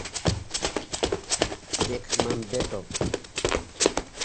бекмамбетов